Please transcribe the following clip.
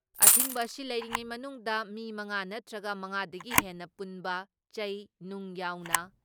ꯑꯊꯤꯡꯕ ꯑꯁꯤ ꯂꯩꯔꯤꯉꯩ ꯃꯅꯨꯡꯗ ꯃꯤ ꯃꯉꯥ ꯅꯠꯇ꯭ꯔꯒ ꯃꯉꯥꯗꯒꯤ ꯍꯦꯟꯅ ꯄꯨꯟꯕ, ꯆꯩ, ꯅꯨꯡ ꯌꯥꯎꯅ